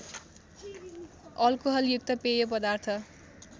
अलकोहलयुक्त पेय पदार्थ